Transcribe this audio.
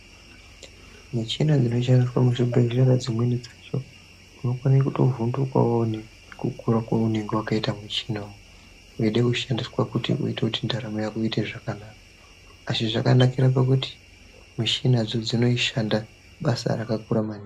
Michina zvinoshandiswa muzvibhedlera dzimweni dzacho unokonetovhundukawo nekukura kwaunenge wakaita muchinauwu, edekushandiswa kuti uite ntaramo yako iite zvakanaka ,asi zvakanakira pekuti mishina dzodzo dzinoshanda basa rakakura maningi.